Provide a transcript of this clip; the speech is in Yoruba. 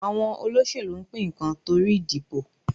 Àwọn olóṣẹ̀lú ń pín nǹkan tó ìdìbò.